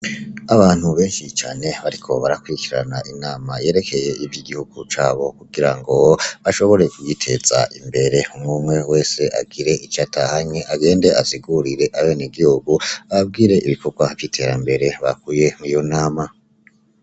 Abantu benshi cane bariko barakurikirana inama yerekeye ivy'igihugu cabo kugira ngo bashobore kugiteza imbere, umwe umwe wese agire ico atahanye agende asigurire abenegihugu, ababwire ibikogwa vy'iterambere bakuye muri iyo nama.